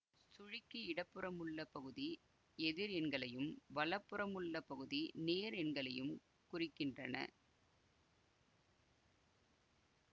சுழிக்கு இடப்புறமுள்ள பகுதி எதிர் எண்களையும் வலப்புறமுள்ள பகுதி நேர் எண்களையும் குறிக்கின்றன